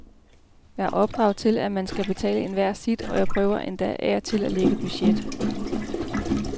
Jeg er opdraget til, at man skal betale enhver sit, og jeg prøver endda af og til at lægge budget.